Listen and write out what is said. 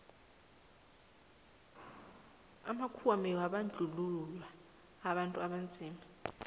amakhuwa bekabandluua abantu abanzima